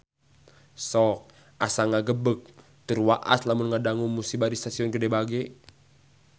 Sok asa ngagebeg tur waas lamun ngadangu musibah di Stasiun Gede Bage